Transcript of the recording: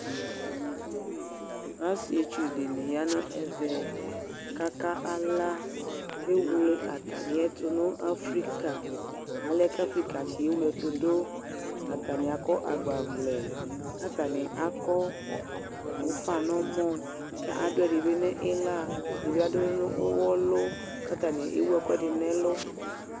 Asɩetsʋ dɩnɩ ya nʋ ɛvɛ, kaka ala Ewle atamɩ ɛtʋ dʋ nʋ afrɩka, alɛna kʋ afrɩkatsɩ ewle ɛtʋ dʋ Atanɩ akɔagbavlɛ, kʋ atanɩ akɔ ʋfa nʋ ɔmɔ, kʋ adʋ ɛdɩ bɩ nʋ ɩɣla, ɛdɩnɩ bɩ adʋ ɛdɩ nʋ ʋwɔlʋ, kʋ ewʋ ɛkʋɛdɩ nʋ ɛlʋ